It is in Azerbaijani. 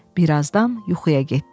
Birazdan yuxuya getdi.